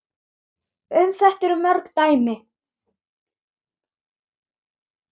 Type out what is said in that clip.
Um þetta eru mörg dæmi.